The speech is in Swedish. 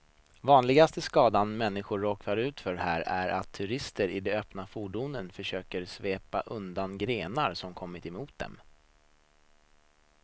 Vanligaste skadan människor råkar ut för här är att turisterna i de öppna fordonen försöker svepa undan grenar som kommer mot dem.